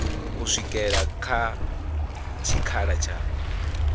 u swikela kha tshikhala tsha